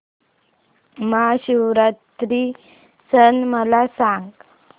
महाशिवरात्री सण मला सांग